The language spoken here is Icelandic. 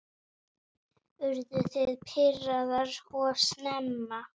Urðu þið pirraðar of snemma?